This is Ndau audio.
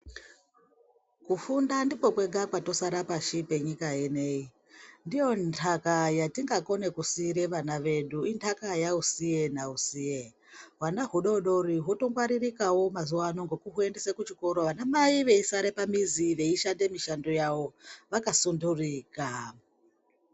Kufunda ndiko kwega kwatosara pashi penyika ineiyi ndiyo nhaka yatingakone kusire vana vedu inhaka yausiye nausiye hwana hudodori hwotongwaririkawo mazuwano ngekuhuendese kuchikoro anamai veisare pamuzi veishanda mushando yavo vakasundurika.